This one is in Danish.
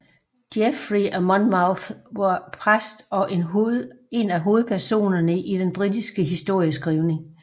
Geoffrey af Monmouth var præst og en af hovedpersonerne i den britiske historieskrivning